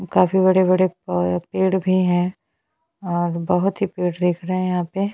काफी बड़े-बड़े पौ पेड़ भी है और बहोत ही पेड़ देख रहे है यहाँ पे--